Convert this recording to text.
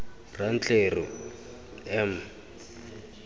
rantleru m m m m